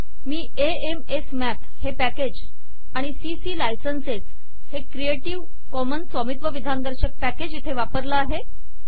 me AM S math हे package आमि CC licenses हे क्रिएटिव्ह कॉमन्स स्वामित्व विधान दर्शक पॅकेज इथे वापरला आहे